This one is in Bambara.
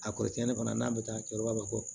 A kɔrɔ tiɲɛ fana n'a bɛ taa a kɛ kɔrɔbalen